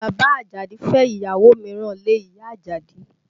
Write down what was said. Bàbá Àjàdí fẹ́ ìyàwó mìíràn lé ìyá Àjàdí